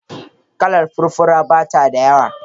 Kalar furfura bata da yawa.